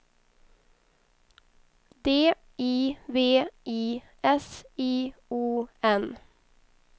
D I V I S I O N